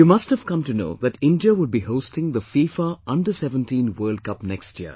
You must have come to know that India will be hosting the FIFA Under17 World Cup next year